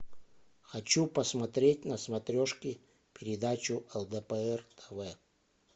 хочу посмотреть на смотрешке передачу лдпр тв